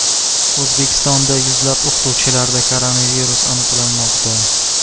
O‘zbekistonda yuzlab o‘qituvchilarda koronavirus aniqlanmoqda.